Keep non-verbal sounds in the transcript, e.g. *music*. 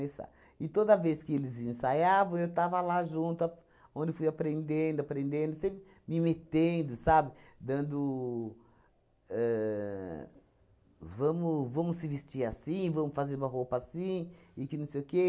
*unintelligible* E toda vez que eles ensaiavam, eu estava lá junto ap, onde fui aprendendo, aprendendo, sempre me metendo, sabe, dando ahn... Vamos vamos se vestir assim, vamos fazer uma roupa assim, e que não sei o quê.